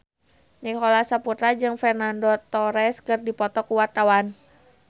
Nicholas Saputra jeung Fernando Torres keur dipoto ku wartawan